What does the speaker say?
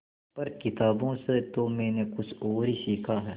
पर किताबों से तो मैंने कुछ और ही सीखा है